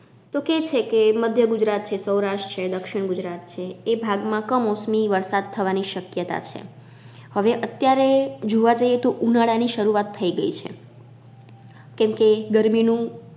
તો કે છે કે મધ્ય ગુજરાત છે, સૌરાસ્ટ છે, દક્ષિણ ગુજરાત છે એ ભાગ માં કમોસમી વરસાદ થવાની શક્યતા છે હવે અત્યારે જોવા જઈએ તો ઉનાળાની શરૂઆત થઈ ગઈ છે કેમ કે ગરમીનું